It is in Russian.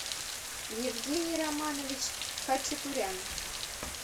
евгений романович хачатурян